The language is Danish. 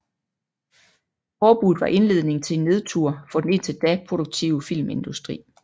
Forbuddet var indledningen til en nedtur for den indtil da produktive filmindustri